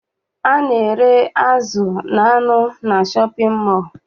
A na-ere azụ na anụ na shọpịn mọọ.